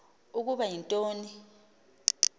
ukuba yinto ni